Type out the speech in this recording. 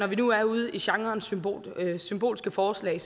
vi nu er ude i genren symbolske symbolske forslag